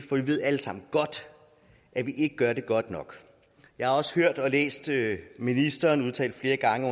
for vi ved alle sammen godt at vi ikke gør det godt nok jeg har også hørt og læst ministeren udtale flere gange